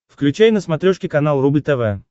включай на смотрешке канал рубль тв